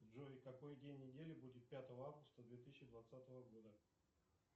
джой какой день недели будет пятого августа две тысячи двадцатого года